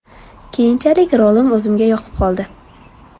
Keyinchalik rolim o‘zimga yoqib qoldi.